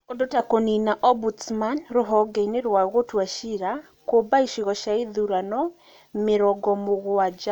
Ũndũ ta kũniina Ombudsman rũhonge-inĩ rwa gũtua ciira, kũmba icigo cia ithurano mĩrongo mũgwanja,